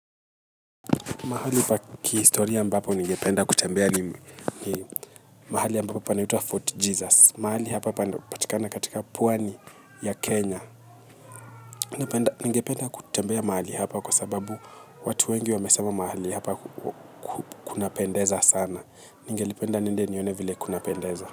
Mahali pa kihistoria ambapo ningependa kutembelea ni mahali ambapo panapoitwa Fort Jesus. Mahali hapa panapatikana katika Pwani ya Kenya. Ningependa kutembea mahali hapa kwa sababu watu wengi wamesema mahali hapa kunapendeza sana. Ningelipenda niende nione vile kuna pendeza.